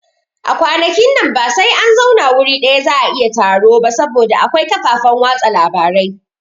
A kwanakin nan ba sai an zauna wuri ɗaya za'a yi taro ba saboda akwai kafafen watsa labarai